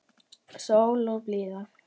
Sól og blíða.